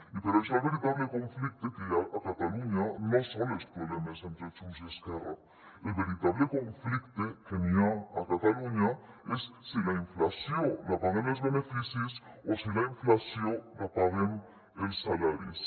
i per això el veritable conflicte que hi ha a catalunya no són els problemes entre junts i esquerra el veritable conflicte que hi ha a catalunya és si la inflació la paguen els beneficis o si la inflació la paguen els salaris